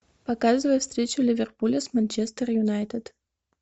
показывай встречу ливерпуля с манчестер юнайтед